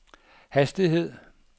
hastighed